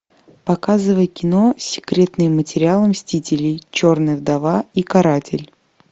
показывай кино секретные материалы мстителей черная вдова и каратель